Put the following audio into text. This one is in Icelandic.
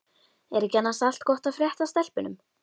Er ekki annars allt gott að frétta af stelpunum?